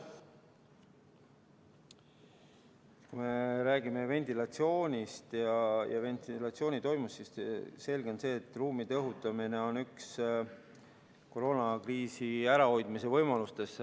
Kui me räägime ventilatsioonist, siis selge on see, et ruumide õhutamine on üks koroonakriisi ärahoidmise võimalustest.